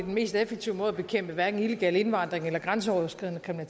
mest effektive måde at bekæmpe hverken illegal indvandring eller grænseoverskridende